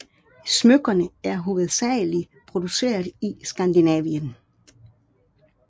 Smykkerne er hovedsageligt produceret i Skandinavien